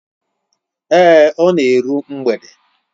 Èé, ọ na eru mgbede.